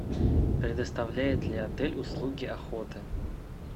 предоставляет ли отель услуги охоты